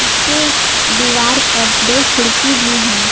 इसके दीवार पर दो खिड़की भी है।